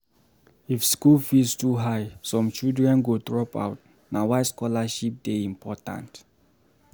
If school fees too high, some children go drop out na why scholarship dey important